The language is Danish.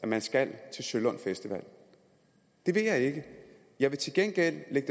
man skal til sølund festival det vil jeg ikke jeg vil til gengæld lade